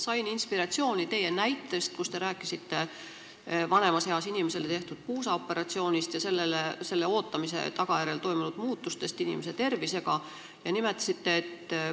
Sain inspiratsiooni teie näitest vanemas eas inimesele tehtud puusaoperatsiooni ja selle ootamise tagajärjel inimese tervisega toimunud muutuse kohta.